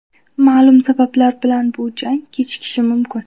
Ma’lum sabablar bilan bu jang kechikishi mumkin.